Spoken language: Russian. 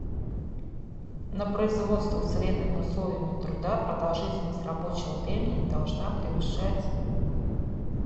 на производствах с вредными условиями труда продолжительность рабочего времени не должна превышать